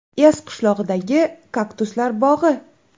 Ez qishlog‘idagi kaktuslar bog‘i.